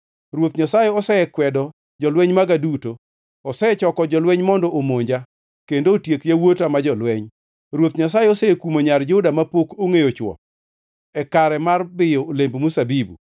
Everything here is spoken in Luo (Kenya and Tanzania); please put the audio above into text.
“Ruoth Nyasaye osekwedo jolweny maga duto; osechoko jolweny mondo omonja, kendo otiek yawuota ma jolweny. Ruoth Nyasaye osekumo nyar Juda mapok ongʼeyo chwo e kare mar biyo olemb mzabibu.